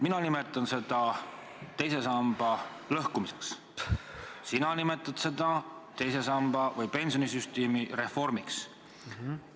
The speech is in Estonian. Mina nimetan seda teise samba lõhkumiseks, sina nimetad seda pensionisüsteemi reformiks.